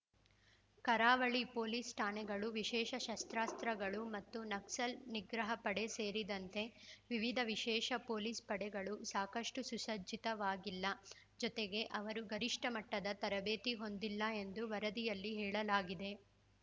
ಕರಾವಳಿ ಪೊಲೀಸ್‌ ಠಾಣೆಗಳು ವಿಶೇಷ ಶಸ್ತ್ರಾಸ್ತ್ರಗಳು ಮತ್ತು ನಕ್ಸಲ್‌ ನಿಗ್ರಹ ಪಡೆ ಸೇರಿದಂತೆ ವಿವಿಧ ವಿಶೇಷ ಪೊಲೀಸ್‌ ಪಡೆಗಳು ಸಾಕಷ್ಟು ಸುಸರ್ಜಿತವಾಗಿಲ್ಲ ಜತೆಗೆ ಅವರು ಗರಿಷ್ಠ ಮಟ್ಟದ ತರಬೇತಿ ಹೊಂದಿಲ್ಲ ಎಂದು ವರದಿಯಲ್ಲಿ ಹೇಳಲಾಗಿದೆ